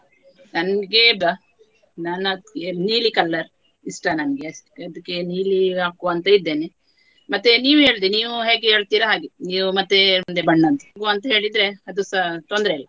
ನನ್ಗೆ ನೀಲಿ color ಇಷ್ಟ ನನ್ಗೆ ಅದ್ಕೆ ನೀಲಿ ಹಾಕುವ ಅಂತ ಇದ್ದೇನೆ ಮತ್ತೆ ನೀವು ಹೇಳಿದ್ದು ನೀವು ಹೇಗೆ ಹೇಳ್ತೀರಾ ಹಾಗೆ ನೀವು ಮತ್ತೆ ಹೇಳಿದ್ರೆ ಅದುಸ ತೊಂದ್ರೆಯಿಲ್ಲ.